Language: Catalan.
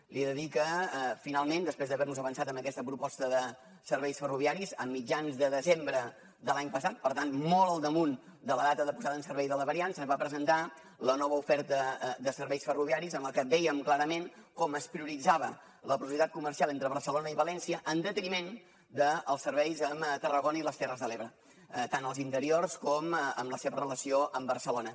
li he de dir que finalment després d’haver nos avançat amb aquesta proposta de serveis ferroviaris a mitjans de desembre de l’any passat per tant molt al damunt de la data de posada en servei de la variant se’ns va presentar la nova oferta de serveis ferroviaris en la que vèiem clarament com es prioritzava la possibilitat comercial entre barcelona i valència en detriment dels serveis amb tarragona i les terres de l’ebre tant els interiors com en la seva relació amb barcelona